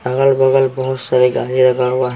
अगल बगल बहुत सारे गाड़ी लगा हुआ है।